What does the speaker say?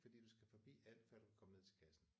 Fordi du skal fordi alt før du kan komme ned til kassen